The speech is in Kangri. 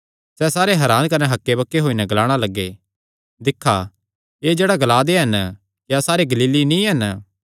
सैह़ सारे हरान कने हक्केबक्के होई नैं ग्लाणा लग्गे दिक्खा एह़ जेह्ड़ा ग्ला दे हन क्या सारे गलीली नीं हन